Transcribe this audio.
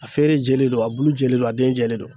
A feere jɛlen don a bulu jɛlen don a den jɛlen don